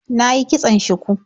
Na yi kitson shuku.